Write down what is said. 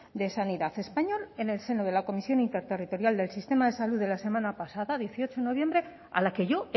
de sanidad español en el seno de la comisión interterritorial del sistema de salud de la semana pasada dieciocho de noviembre a la que yo